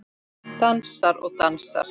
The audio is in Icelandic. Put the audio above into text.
Dansar og dansar.